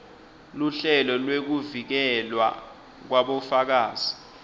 luhlelo lwekuvikelwa kwabofakazi